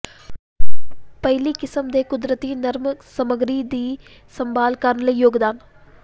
ਪਹਿਲੀ ਕਿਸਮ ਦੇ ਕੁਦਰਤੀ ਨਰਮ ਸਮੱਗਰੀ ਦੀ ਸੰਭਾਲ ਕਰਨ ਲਈ ਯੋਗਦਾਨ